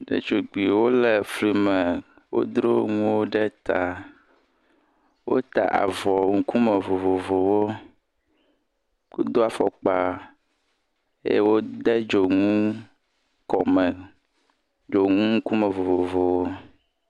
Ɖetugbuiwo le fli me, wodro nuwo ɖe ta, wota avɔ ŋkume vovovowo, wodo afɔkpa, eye wode dzonu kɔme, dznu ŋkume vovovowo.